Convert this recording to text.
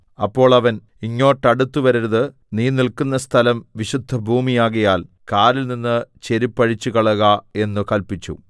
അപ്പോൾ അവൻ ഇങ്ങോട്ടടുത്ത് വരരുത് നീ നില്ക്കുന്ന സ്ഥലം വിശുദ്ധഭൂമിയാകയാൽ കാലിൽനിന്ന് ചെരിപ്പ് അഴിച്ചുകളയുക എന്ന് കല്പിച്ചു